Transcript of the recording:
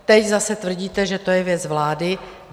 Teď zase tvrdíte, že to je věc vlády.